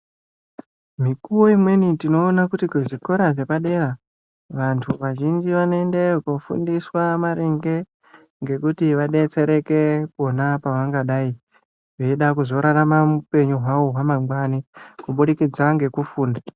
Mikuwo imweni tinoona kuti kuzvikora zvepadera vanthu vanoendeyo kofundiswa maringe ngekuti vadetsereke pona pavangadai veida kuzorarama upenyu hwavo hwamangwani kubudikidza ngekufunda.